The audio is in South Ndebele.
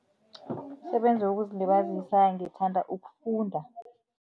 Umsebenzi wokuzilibazisa ngithanda ukufunda.